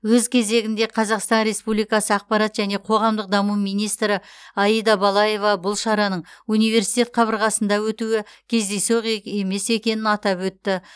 өз кезегінде қазақстан республикасы ақпарат және қоғамдық даму министрі аида балаева бұл шараның университет қабырғасында өтуі кездейсоқ емес екенін атап өтті